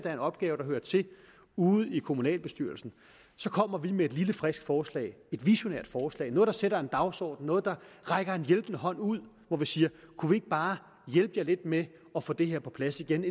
er en opgave der hører til ude i kommunalbestyrelsen så kommer vi med et lille frisk forslag et visionært forslag noget der sætter en dagsorden noget der rækker en hjælpende hånd ud hvor vi siger kunne vi ikke bare hjælpe jer lidt med at få det her på plads igen